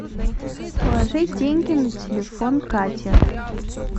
положить деньги на телефон кате